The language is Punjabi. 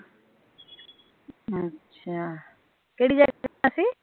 ਅੱਛਾ ਕਿਹੜੀ ਸੀ